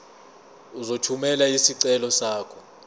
uzothumela isicelo sakho